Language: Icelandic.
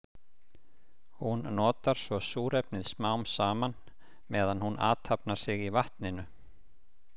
Hún notar svo súrefnið smám saman meðan hún athafnar sig í vatninu.